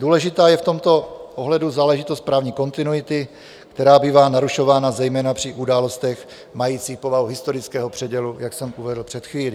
Důležitá je v tomto ohledu záležitost právní kontinuity, která bývá narušována zejména při událostech majících povahu historického předělu, jak jsem uvedl před chvílí.